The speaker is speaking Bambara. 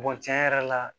tiɲɛ yɛrɛ la